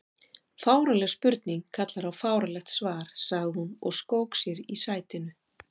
Fáránleg spurning kallar á fáránlegt svar sagði hún og skók sér í sætinu.